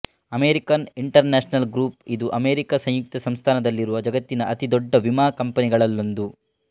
American International Group ಇದು America ಸಂಯುಕ್ತ ಸಂಸ್ಥಾನದಲ್ಲಿರುವ ಜಗತ್ತಿನ ಅತಿ ದೊಡ್ಡ ವಿಮಾ ಕಂಪನಿಗಳಲ್ಲೊಂದು